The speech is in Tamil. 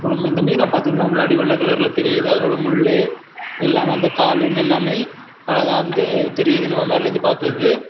இந்த மீனை பார்த்த உடனே முன்னாடி வெள்ளை கலரில் தெரியுது அதுல முள்ளு எல்லாம் வந்து கால் எல்லாமே அழகா வந்து தெரியுது நம்ம மேல இருந்து பாக்குறதுக்கு.